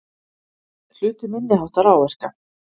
Hlutu minniháttar áverka